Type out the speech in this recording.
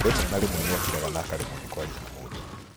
Rĩmwe na rĩmwe nĩ akĩraga na akaremwo nĩ kwaria na mũndũ.